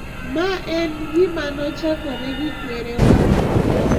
Ma en gima ne ochakore gi kwerewa.